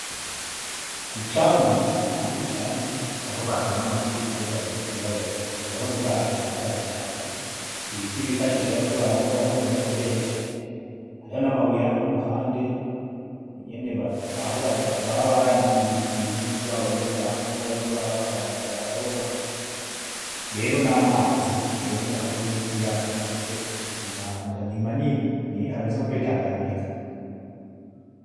Kucambu. Aha ni kucambu aho bazana amafi bahejeje kuyaroba urabona ubwato bungahe butatu , ibiti bifashisha bariko bararoba nyene bakoresha, hariho namabuye hano kuruhande nyene aho baba baranikiye umpuzu zabo iyo zakanye bariko bararoba , rero namazi biboneka ko ari nkikiyaga canke se inyanja ni manini hameze nko kuri tanganyika.